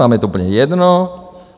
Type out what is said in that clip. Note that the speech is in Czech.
Vám je to úplně jedno?